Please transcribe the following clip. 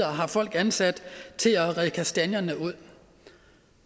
har folk ansat til at redde kastanjerne ud